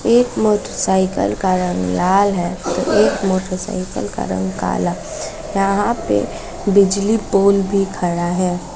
एक मोटरसाइकिल का रंग लाल है तो एक मोटरसाइकिल का रंग काला यहां पे बिजली पोल भी खड़ा है।